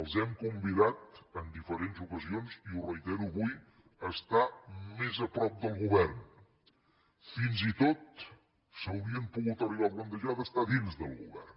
els hem convidat en diferents ocasions i ho reitero avui a estar més a prop del govern fins i tot s’haurien pogut arribar a plantejar d’estar a dins del govern